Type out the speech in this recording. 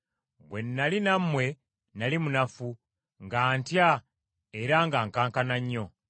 Bwe nnali nammwe nnali munafu, nga ntya era nga nkankana nnyo.